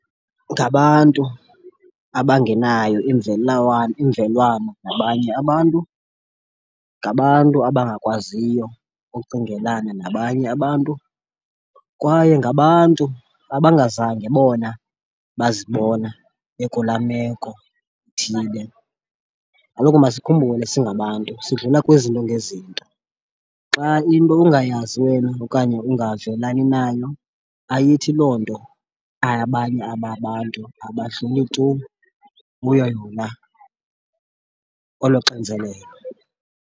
Ngabantu abangenayo imvelwano ngabanye abantu. Ngabantu abangakwaziyo ukucingelana nabanye abantu, kwaye ngabantu abangazange bona bazibona bekulaa meko ithile. Kaloku masikhumbule singabantu sidlula kwizinto ngezinto, xa into ungayazi wena okanye ungavelani nayo ayithi loo nto abanye ababantu abadluli tu kuyo yona olo xinzelelo.